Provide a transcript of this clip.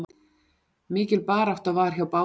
Mikil barátta var hjá báðum liðum.